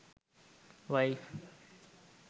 wife